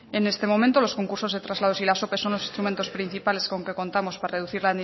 en este momento los concursos de traslados y las ope son los instrumentos principales con que contamos para reducir